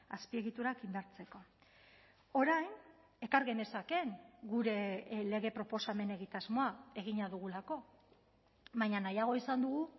azpiegiturak indartzeko orain ekar genezakeen gure lege proposamen egitasmoa egina dugulako baina nahiago izan dugu